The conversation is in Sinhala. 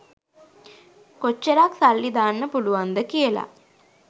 කොච්ච්රක් සල්ලි දාන්න පුලුවන්ද කියල